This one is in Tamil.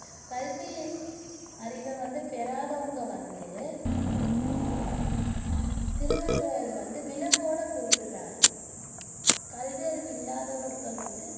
கல்வியறிவை வந்து பெறாதவங்க வந்து திருவள்ளுவர் வந்து விலங்கோட குறிப்பிடுறாரு கல்வியறிவு இல்லாதவர்கள் வந்து